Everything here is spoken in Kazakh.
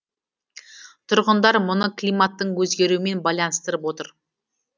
тұрғындар мұны климаттың өзгеруімен байланыстырып отыр